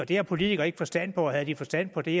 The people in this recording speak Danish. det har politikere ikke forstand på og havde de forstand på det